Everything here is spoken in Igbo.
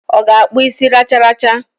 O ga-akpu isi racharacha?